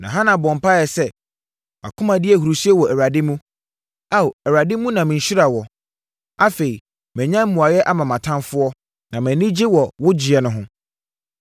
Na Hana bɔɔ mpaeɛ sɛ, “Mʼakoma di ahurisie wɔ Awurade mu! Ao, Awurade mu na me nhyira wɔ! Afei, manya mmuaeɛ ama mʼatamfoɔ, na mʼani gye wɔ wo gyeɛ no ho.